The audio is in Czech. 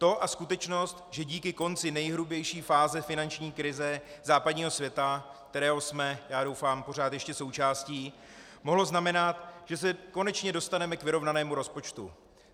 To a skutečnost, že díky konci nejhrubější fáze finanční krize západního světa, kterého jsme - já doufám - pořád ještě součástí, mohlo znamenat, že se konečně dostaneme k vyrovnanému rozpočtu.